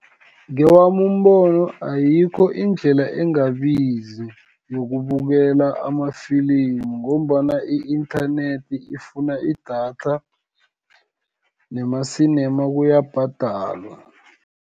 Ngewami umbono, ayikho indlela engabizi yokubukela amafilimu, ngombana i-inthanethi ifuna idatha, nemasinema kuyabhadalwa.